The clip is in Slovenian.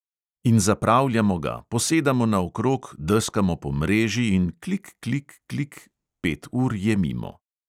In zapravljamo ga, posedamo naokrog, deskamo po mreži in klik, klik, klik, pet ur je mimo.